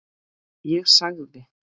Ég sagði